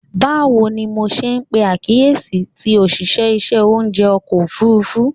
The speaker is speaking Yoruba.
Bawo ni MO ṣe pe akiyesi ti oṣiṣẹ iṣẹ ounjẹ ọkọ ofurufu?